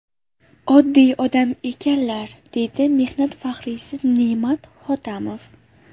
Oddiy odam ekanlar”, deydi mehnat faxriysi Ne’mat Hotamov.